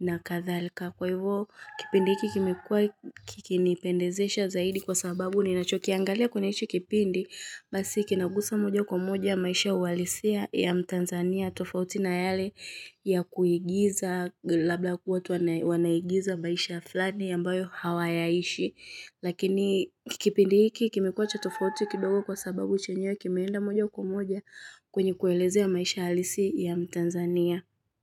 na kadhalika. Kwa hivyo kipindi hiki kimekuwa kikinipendezesha zaidi kwa sababu ninacho kiangalia kwenye hihi kipindi, basi kinagusa moja kwa moja maisha uhalisia ya mtanzania tofauti na yale ya kuigiza labla kuwa watu wanaigiza maisha fulani ambayo hawayaishi. Lakini kipindi hiki kimekuwa cha tofauti kidogo kwa sababu chenyewe kimeenda moja kwa moja kwenye kuelezea maisha halisi ya mtanzania.